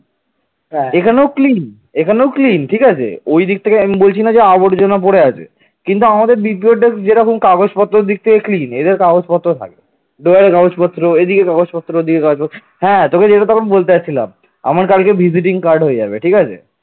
drawer কাগজপত্র এদিকে কাগজপত্র দিয়ে হ্যাঁ তোকে যেটা তখন বলতে যাচ্ছিলাম আমার কালকে visiting card হয়ে যাবে ঠিক আছে